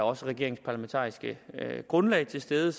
og regeringens parlamentariske grundlag til stede